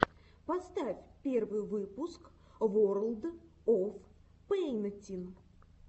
поставь первый выпуск ворлд оф пэйнтин